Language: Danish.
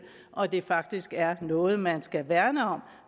og at det faktisk er noget man skal værne om